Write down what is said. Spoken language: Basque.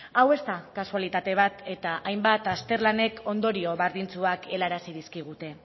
hau ez da kasualitate bat eta hainbat azterlanek ondorio berdintsuak helarazi dizkigute